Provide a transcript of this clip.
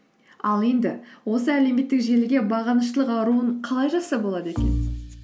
ал енді осы әлеуметтік желіге бағыныштылық ауруын қалай жазса болады екен